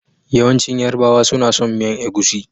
Yawancin yarbawa suna son miyan egusi.